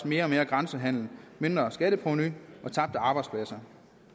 mere og mere grænsehandel mindre skatteprovenu og tabte arbejdspladser